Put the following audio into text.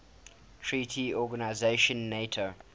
treaty organization nato